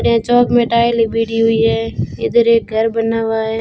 हुई है इधर एक घर बना हुआ है।